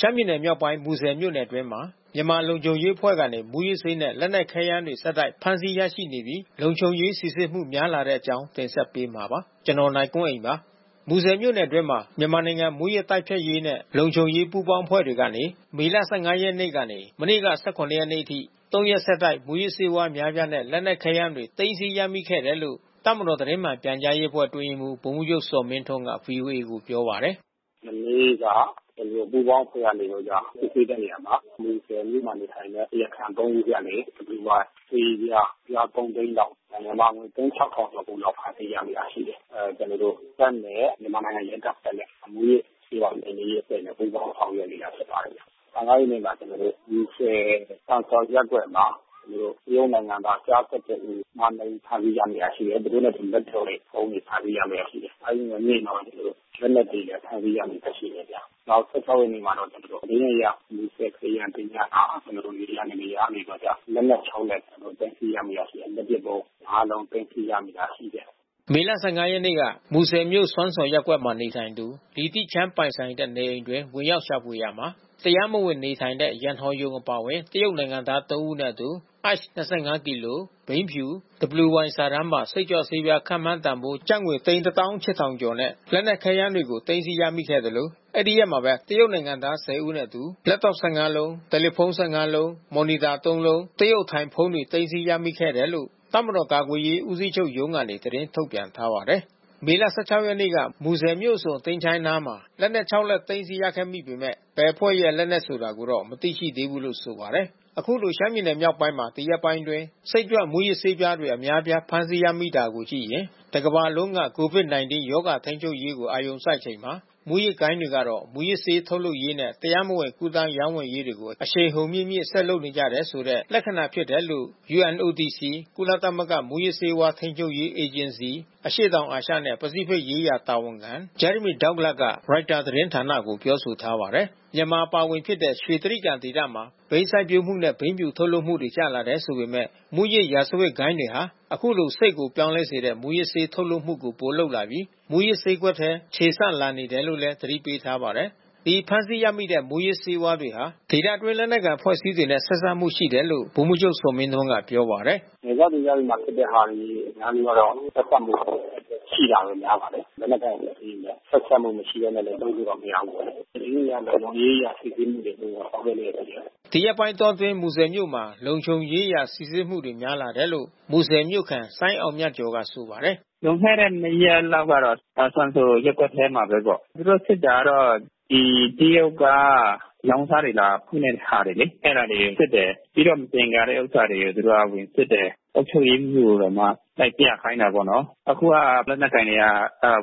ရှမ်းပြည်နယ်မြောက်ပိုင်း မူဆယ်မြို့နယ်အတွင်းမှာ မြန်မာလုံခြုံရေးအဖွဲ့ကနေ မုူးယစ်ဆေးနဲ့ လက်နက်ခဲယမ်းတွေ ဆက်တိုက် ဖမ်းဆီးရရှိနေပြီး လုံခြုံရေးစီစစ်မှု များလာတဲ့အကြောင်း ဗွီအိုအေမြန်မာပိုင်း သတင်းထောက် ကိုနိုင်ကွန်းအိန်က တင်ဆက်ပေးပါမယ်။ မူဆယ်မြို့နယ်အတွင်းမှာ မြန်မာနိုင်ငံ မူးယစ်တိုက်ဖျက်ရေးနဲ့ လုံခြုံရေးပူးပေါင်းအဖွဲ့တွေကနေ မေလ ၁၅ ရက် ကနေ မနေ့က ၁၇ ရက်နေ့အထိ ၃ ရက်ဆက်တိုက် မူးယစ်ဆေးဝါးအများပြားနဲ့ လက်နက်ခဲယမ်းတွေ သိမ်းဆည်း ရမိခဲ့တယ်လို့ တပ်မတော်သတင်းမှန်ပြန်ကြားရေးအတွင်းရေးမှူး ဗိုလ်မှူးချုပ်ဇော်မင်းထွန်းက ဗွီအိုအေကိုပြောပါတယ်။ “မနေ့က ကျနော်တို့ ပူးပေါင်းအဖွဲ့နေပြီးတော့က စစ်ဆေးတဲ့နေရာမှာ မူဆယ်မြို့မှာ နေထိုင်တဲ့ တရားခံ ၃ ဦးဆီကနေ WY ဆေးပြား အပြား ၃၀၀,၀၀၀ လောက် မြန်မာငွေသိန်း ၆,၀၀၀ ကျော်လောက် သိမ်းဆည်းရမိတာရှိတယ်။ ကျနော်တို့တပ်နဲ့ မြန်မာနိုင်ငံ ရဲတပ်ဖွဲ့နဲ့ မူးယစ်ဆေးဝါးနှိမ်နှင်းရေးအဖွဲ့နဲ့ ပူးပေါင်းဆောင်ရွက်နေတာ ဖြစ်ပါတယ်။ ၁၅ ရက် နေ့မှာ မူဆယ်စွမ်စော်ရပ်ကွက်မှာ တရုတ်နိုင်ငံသား ကျား ၁၁ ဦး၊ မ၂ ဦး ဖမ်းဆီး ရမိတာရှိတယ်။ သူတို့နဲ့အတူ လက်တော့တွေ၊ ဗုံးတွေ ဖမ်းဆီးရမိတာ ရှိတယ်။ အဲဒီနေ့မှာ လက်နက်တွေ ဖမ်းဆီးရမိတာ ရှိတယ်။ နောက် ၁၆ ရက်နေ့မှာတော့ ကျနော်တို့ မူဆယ်ခရစ်ယာန်သင်္ချီုင်းမှာ ကျနော်တို့ နေရာ နှစ် နေရာကနေပြီးတော့က လက်နက် ၆ လက်၊ ကျနော်တို့ သိမ်းဆည်း ရမိတာရှိတယ်။ လက်ပစ်ဗုံး ၅ လုံး သိမ်းဆည်း ရမိတာရှိတယ်။” မေလ ၁၅ ရက်နေ့မှာ မူဆယ်မြို့စွမ်စော်ရပ်ကွက်မှာ နေထိုင်သူ လိတီချန်း ပိုင်ဆိုင်တဲ့နေအိမ်အတွင်း ဝင်ရောက် ရှာဖွေရာမှာ တရားမဝင်နေထိုင်တဲ့ ရန်ဟော်ယုံ အပါအဝင် တရုတ်နိုင်ငံသား ၃ ဦးနဲ့အတူ ICE ၂၅ ကီလို၊ ဘိန်းဖြု WY စာတန်းပါ စိတ်ကြွ ဆေးပြားခန့်မှန်းတန်ဖိုး ကျပ်ငွေ သိန်း ၁၈,၀၀၀ ကျော်နဲ့ လက်နက်ခဲယမ်းတွေကို သိမ်းဆည်းရမိသလို အဲဒီရက်မှာပဲ တရုတ်နိုင်ငံသား ၁၀ဦးနဲ့ အတူ လက်တော့ ၁၅ လုံး၊ တယ်လီဖုန်း ၁၅ လုံး၊ မော်နီတာ ၃လုံး၊ တရုတ် အထိုင် ဖုန်းတွေ သိမ်းဆည်းရမိခဲ့တယ်လို့ တပ်မတော်ကာကွယ်ရေးဦးစီးချုပ်ရုံးကနေ သတင်းထုတ်ပြန်ထားပါတယ်။ မေလ ၁၆ ရက်နေ့က မူဆယ်မြို့အစွန် သင်္ချိုင်းအနီးမှာ လက်နက် ၆ လက် သိမ်းဆည်းရခဲ့ပေမဲ့ ဘယ်အဖွဲ့က လက်နက်ဆိုတာကိုတော့ မသိရှိသေးဘူးလို့ဆိုပါတယ်။ အခုလို ရှမ်းပြည်မြောက်ပိုင်းမှာ ဒီရက်ပိုင်းအတွင်း စိတ်ကြွမူးယစ်ဆေးပြားတွေ အများအပြားဖမ်းဆီးရမိတာကို ကြည့်ရင်။ တကမ္ဘာလုံးက COVID-19 ရောဂါထိန်းချုပ်ရေးကို အာရုံစိုက်နေချိန်မှာ မူးယစ်ဂိုဏ်းတွေကတော့ မူးယစ်ဆေး ထုတ်လုပ်ရေးနဲ့ တရားမဝင်ကူးသန်းရောင်းဝယ်မှုတွေကို အရှိန်အဟုန်မြင့်မြင့် ဆက်လုပ်နေကြတယ်ဆိုတဲ့ လက္ခဏာ ဖြစ်တယ်လို့ UNODC ကုလသမဂ္ဂ မူးယစ်ဆေးဝါး ထိန်းချုပ်ရေးအေဂျင်စီ အရှေ့တောင်အာရှနဲ့ ပစိတ်ဖိတ်ရေးရာ တာဝန်ခံ Jeremy Douglas က ရိုက်တာသတင်းဌာနကို ပြောထားပါတယ်။ မြန်မာအပါအဝင်ဖြစ်တဲ့ ရွှေတြိဂံဒေသမှာ ဘိန်းစိုက်ပျိုးမှုနဲ့ ဘိန်းဖြူထုတ်လုပ်မှုတွေ ကျလာတယ်ဆိုပေမဲ့ မူးယစ် ရာဇဝတ်ဂိုဏ်းတွေဟာ အခုလို စိတ်ကိုပြောင်းလဲစေတဲ့ မူးယစ်ဆေးထုတ်လုပ်မှု ပိုလုပ်လာပြီး မူးယစ်ဈေးကွက်ထဲ ခြေဆန့်လာနေတယ်လို့လည်း သတိပေးထားပါတယ်။ ဒီဖမ်းဆီးရမိတဲ့ မူးယစ်ဆေးဝါးတွေဟာ ဒေသအတွင်း လက်နက်ကိုင်အဖွဲ့အစည်းတွေနဲ့ဆက်စပ်မှုရှိတယ်လို့ ဗိုလ်မှူးချုပ် ဇော်မင်းထွန်းက ပြောပါတယ်။ “နယ်စပ်ဒေသမှာဖြစ်တဲ့ဟာတွေအများစုကတော့ ဆက်စပ်မှုကတော့ ရှိတာပဲ များပါတယ်။ လက်နက်ကိုင်အဖွဲ့အစည်းတွေနဲ့ ဆက်စပ်မှုမရှိဘဲနဲ့ လုပ်လို့တော့ မရဘူးပေါ့လေ။ ကျနော်တို့လည်း လုံခြုံရေးအရစီစစ်မှုတွေ တိုးပြီးတော့ ဆောင်ရွက်နေတယ်။” ဒီရက်ပိုင်းတောအတွင်းမူဆယ်မြို့မှာ လုံခြုံရေးအရ စီစစ်မှုတွေ များလာတယ်လို့ မူဆယ်ြမို့ခံ စိုင်းအောင်မြတ်ကျော်က ဆိုပါတယ်။ “လွန်ခဲ့တဲ့ ၂ ရက်လောက်ကတော့ စွမ်စော်ရပ်ကွက်ထဲမှာပဲပေါ့။ သူတို့စစ်တာကတော့ ဒီတရုတ်က လောင်းကစား လာဖွင့်တဲ့ ဟာတွေလေ။ အဲတာတွေ စစ်တယ်။ ပြီးတော့ မသင်္ကာတဲ့ ဥစ္စာတွေသူတို့က ဝင်စစ်တယ်။ အုပ်ချုပ်ရေးမှူးတွေကိုပါ လိုက်ပြခိုင်းတာ ပေါ့နော်။ အခုက လက်နက်ကိုင်တွေက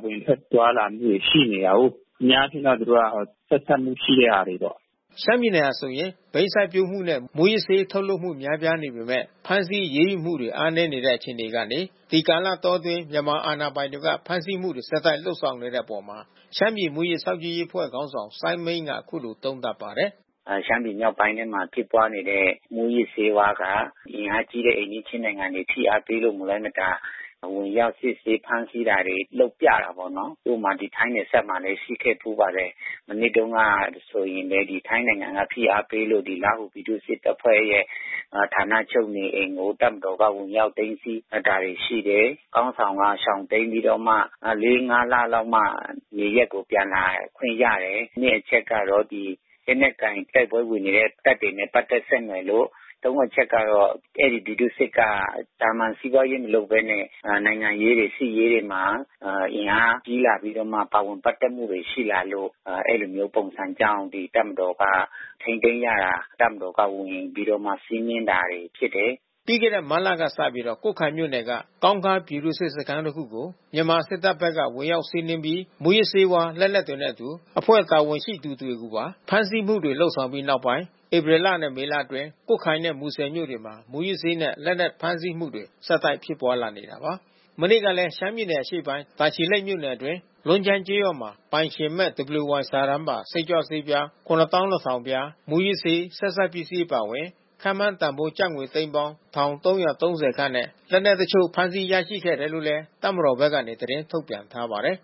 ဝင်ထွက်သွားလာမှုတွေ ရှိနေတာကိုး။ အများအားဖြင့်ကသူတို့က ဆက်စပ်မှု ရှိတဲ့ဟာတွေပေါ့။” ရှမ်းပြည်နယ်ဟာဆိုရင် ဘိန်းစိုက်ပျိုးမှုနဲ့ မူးယစ်ဆေးထုတ်လုပ်မှု များပြားနေပေမဲ့ ဖမ်းဆီးအရေးယူမှုတွေ အားနည်းနေတဲ့ အခြေအနေကနေ ဒီကာလတောအတွင်း မြန်မာအဏာပိုင်တွေက ဖမ်းဆီးမှုတွေ ဆက်တိုက်လုပ်ဆောင်တဲ့အပေါ် ရှမ်းပြည်မူးယစ် စောင့်ကြည့်ရေးအဖွဲ့ခေါင်းဆောင် စိုင်းမိန်းက အခုလိုသုံးသပ်ပါတယ်။ “ရှမ်းပြည်မြောက်ပိုင်းမှာ ဖြစ်ပွါးနေတဲ့ မူးယစ်ဆေးဝါးက အင်အားကြီးတဲ့ အိမ်နီးချင်းနိုင်ငံတွေ ဖိအားပေးလို့ မလွှဲမရှောင်သာဝင်ရောက် စစ်ဆေးဖမ်းဆီးတာတွေ လုပ်ပြတာပေါ့နော်။ ဥပမာ ဒီထိုင်းနယ်ဟပ်မှာလည်း ရှိခဲ့ဘူးပါတယ်။ မနှစ်တုန်းကဆိုရင်လည်း ဒီခိုင်းနိုင်ငံက ဖိအားပေးလို့ လားဟူပြည်သူ့စစ်တပ်ဖွဲ့ရဲ့ ဌာနချုပ်နေအိမ်ကို တပ်မတော်က ဝင်ရောက် သိမ်းဆည်းတာတွေ ရှိတယ်။ ခေါင်းဆောင် ကရှောင်တိမ်းပြီးတော့မှ ၄၊ ၅ လလောက်မှ နေရပ်ကိုပြန်လာခွင့်ရတယ်။ ၂ အချက်ကတော့ ဒီ လက်နက်ကိုင် တိုက်ပွဲဝင်နေတဲ့ တပ်တွေနဲ့ပက်သက်ဆက်နွယ်လို့။ ၃ အချက်ကတော့ အဲဒီပြည် သူ့စစ်က သာမန်စီးပွါးရေး မလုပ်ဘဲနဲ့ နိုင်ငံရေးတွေ၊ စစ်ရေးတွေမှာ အင်အားကြီးလာပြီးတော့မှ ပါဝင်ပတ်သက်မှုတွေရှိလာလို့ အဲဒီလိုမျိုးပုံစံကြောင့် တပ်မတော်က ထိန်းသ်ိမ်းရတာ တပ်မတော်က ဝင်ပြီးတော့စီးနင်းရတာဖြစ်တယ်။” ပြီးခဲ့တဲ့ မတ်လကစပြီး ကွတ်ခိုင်မြို့နယ်က ကောင်းခါးပြည်သူ့စစ်စခန်း တခုကို မြန်မာစစ်တပ်ဘက်က ဝင်ရောက်စီးနင်းပြီး မူးယစ်ဆေးဝါး လက်နက်တွေနဲ့အတူ အဖွဲ့တာဝန်ရှိသူတွေကိုပါ ဖမ်းဆီးမှုတွေ လုပ်ဆောင်ပြီးနောက်ပိုင်း ဧပြီလနဲ့ မေလအတွင်းမှာ ကွတ်ခိုင်နဲ့မူဆယ်မြို့တွေမှာ မုူးယစ်ဆေးနဲ့ လက်နက်ဖမ်းဆီးမှုတွေ ဆက်တိုက်ဖြစ်ပွါးလာနေတာပါ။ မနေ့ကလည်း ရှမ်းပြည်နယ် ၊ တာချီလိတ်မြို့နယ်အတွင်း လွန်းကျိုင်းကျေးရွာမှာ ပိုင်ရှင်မဲ့ WY စာတမ်း ပါစိတ်ကြွ ဆေးပြား ၇,၂၀၀၀ ပြား၊ မူးယစ်ဆေးဆက်စပ်ပစ္စည်းအပါဝင် ခန့်မှန်းတန်ဖိုးငွေကျပ်သိန်းပေါင်း ၁,၃၃၀ ခန့်နဲ့ လက်နက်တချို့ ဖမ်းဆီး ရရှိခဲ့တယ်လို့လဲ တပ်မတော်ဘက်က သတင်းထုတ်ပြန်ထားပါတယ်